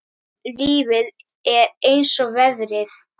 Lífið er eins og veðrið.